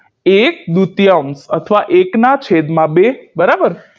એક દૂતયાંશ અથવા એક ના છેદ માં બે બરાબર